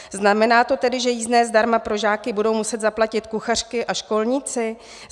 Znamená to tedy, že jízdné zdarma pro žáky budou muset zaplatit kuchařky a školníci?